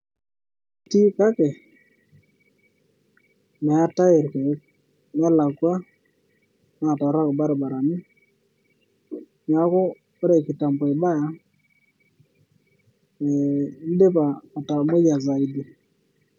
Etii kake meetae irkiek nelakwa naa torrok ilbarabarani neaku ore kitambo ibaya ee idipa atamoyia saidi